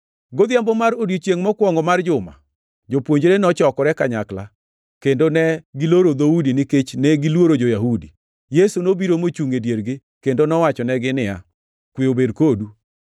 Godhiambo mar odiechiengʼ mokwongo mar juma, jopuonjre nochokore kanyakla, kendo ne giloro dhoudi nikech negiluoro jo-Yahudi, Yesu nobiro mochungʼ e diergi kendo nowachonegi niya, “Kwe obed kodu!”